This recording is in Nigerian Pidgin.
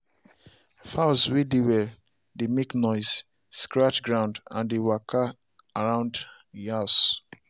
fowls way dey well dey make noisescratch ground and they walka around e house